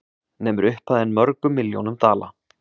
Nemur upphæðin mörgum milljónum dala